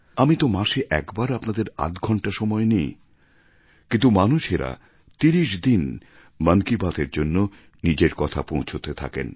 আর আমি তো মাসে একবার আপনাদের আধঘণ্টা সময় নিই কিন্তু মানুষেরা তিরিশ দিন মন কি বাত এর জন্য নিজের কথা পৌঁছতে থাকেন